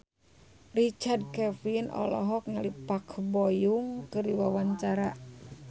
Richard Kevin olohok ningali Park Bo Yung keur diwawancara